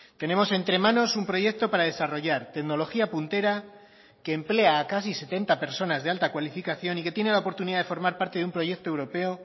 tenemos entre manos un proyecto para desarrollar tecnología puntera que emplea a casi setenta personas de alta cualificación y que tiene la oportunidad de formar parte de un proyecto europeo